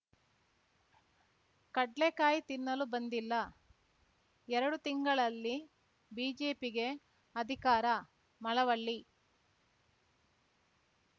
ಕಡ್ಲೇಕಾಯಿ ತಿನ್ನಲು ಬಂದಿಲ್ಲ ಎರಡು ತಿಂಗಳಲ್ಲಿ ಬಿಜೆಪಿಗೆ ಅಧಿಕಾರ ಮಳವಳ್ಳಿ